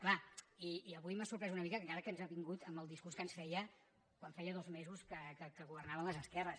clar i avui m’ha sorprès una mica que encara ens ha vingut amb el discurs que ens feia quan feia dos mesos que governaven les esquerres